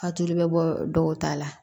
A tulu bɛ bɔ dɔw ta la